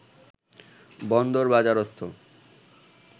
বন্দরবাজারস্থ